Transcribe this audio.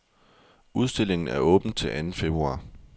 Udstillingen er åben til anden februar.